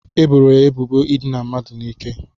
E boro ya ebubo idina mmadụ n'ike.